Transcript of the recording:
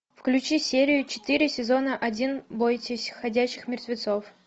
включи серию четыре сезона один бойтесь ходячих мертвецов